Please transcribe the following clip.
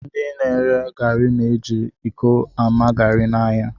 Ndị na-ere garị na-eji iko ama garị n'ahịa